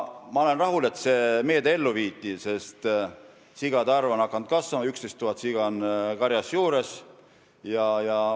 Ma olen rahul, et see meede ellu viidi, sest sigade arv on hakanud kasvama, 11 000 siga on karjas juures.